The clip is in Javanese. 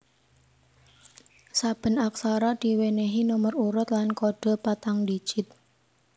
Saben aksara diwènèhi nomer urut lan kodhe patang digit